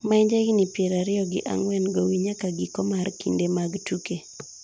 ma en ja higni piero ariyo gi ang'wen gowi nyaka giko mar kinde mag tuke